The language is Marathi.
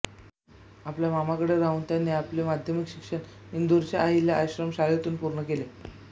आपल्या मामाकडे राहून त्यांनी आपले माध्यमिक शिक्षण इंदूरच्या अहिल्या आश्रम शाळेतून पूर्ण केले